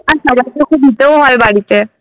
আর সবাইকে তো দিতেও হয় বাড়িতে।